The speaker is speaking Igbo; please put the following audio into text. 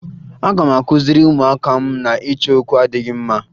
Aga m akụziri ụmụaka m na ịchọ okwu adịghị mma